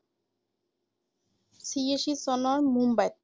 চিয়াশী চনৰ মুম্বাইত ৷